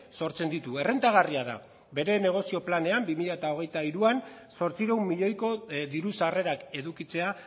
sortzen ditu errentagarria da bere negozio planean bi mila hogeita hiruan zortziehun milioiko diru sarrerak edukitzea